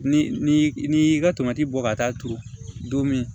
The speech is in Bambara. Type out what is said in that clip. Ni n'i y'i ka tomati bɔ ka taa turu don min